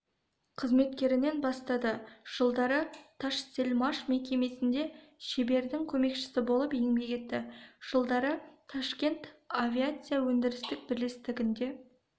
қызметкерінен бастады жылдары ташсельмаш мекемесінде шебердің көмекшісі болып еңбек етті жылдары ташкент авиация өндірістік бірлестігінде